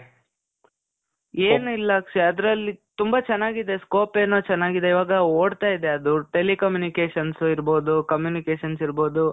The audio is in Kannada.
ಏನಿಲ್ಲ ಅಕ್ಷಯ್. ಅದ್ರಲ್ಲಿ ತುಂಬ ಚನಾಗಿದೆ. scope ಏನೋ ಚನಾಗಿದೆ. ಇವಾಗ ಓಡ್ತಾ ಇದೆ ಅದು. telecommunications ಇರ್ಬಹುದು, communications ಇರ್ಬಹುದು,